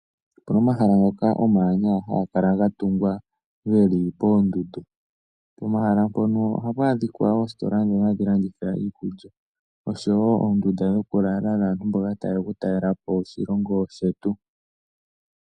Opu na omahala ngoka omawanwa haga kala ga tungwa ge li poondundu. Pomahala mpono ohapu adhika oositola ndhono hadhi landitha iikulya nosho wo oondunda dhokulala dhaantu mboka taye ya okutalela po oshilongo shetu.